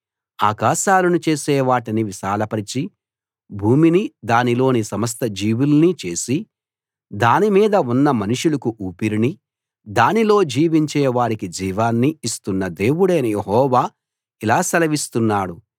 ఆకాశాలను చేసి వాటిని విశాలపరచి భూమినీ దానిలోని సమస్త జీవుల్నీ చేసి దాని మీద ఉన్న మనుషులకు ఊపిరినీ దానిలో జీవించే వారికి జీవాన్నీ ఇస్తున్న దేవుడైన యెహోవా ఇలా సెలవిస్తున్నాడు